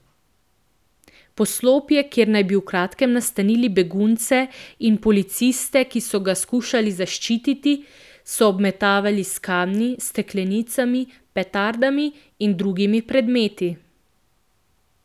Poslopje, kjer naj bi v kratkem nastanili begunce, in policiste, ki so ga skušali zaščititi, so obmetavali s kamni, steklenicami, petardami in drugimi predmeti.